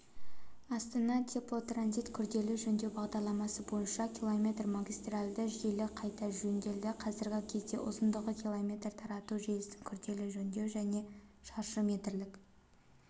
астана-теплотранзит күрделі жөндеу бағдарламасы бойынша км магистральді желі қайта жөнделді қазіргі кезде ұзындығы км тарату желісін күрделі жөндеу және шаршы метрлік